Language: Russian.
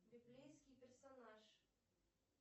библейский персонаж